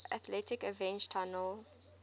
atlantic avenue tunnel